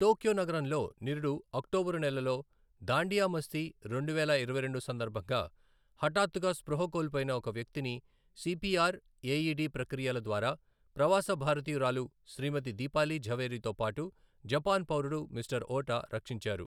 Tokyo నగరంలో నిరుడు అక్టోబరు నెలలో దాండియా మస్తీ రెండువేల ఇరవై రెండు సందర్భంగా హఠాత్తుగా స్పృహ కోల్పోయిన ఒక వ్యక్తిని సీపీఆర్, ఎఇడి ప్రక్రియల ద్వారా ప్రవాస భారతీయురాలు శ్రీమతి దీపాలీ ఝవేరీతోపాటు జపాన్ పౌరుడు మిస్టర్ ఓటా రక్షించారు.